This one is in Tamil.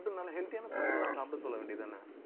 food னால healthy யான food எல்லாம் சாப்பிட சொல்ல வேண்டியதுதானே